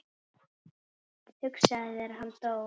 Hugsaðu þér, hann dó.